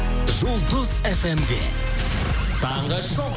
жұлдыз фм де таңғы шоу